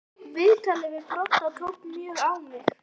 Viðtalið við Brodda tók mjög á mig.